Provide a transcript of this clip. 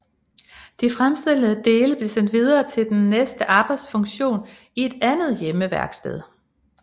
De fremstillede dele blev sendt videre til den næste arbejdsfunktion i et andet hjemmeværksted